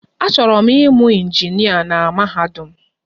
Achọrọ m ịmụ injinịa na mahadum.